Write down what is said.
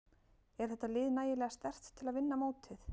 Er þetta lið nægilega sterkt til að vinna mótið?